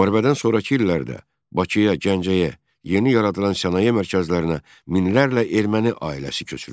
Müharibədən sonrakı illərdə Bakıya, Gəncəyə, yeni yaradılan sənaye mərkəzlərinə minlərlə erməni ailəsi köçürüldü.